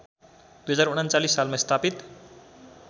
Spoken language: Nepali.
२०३९ सालमा स्थापित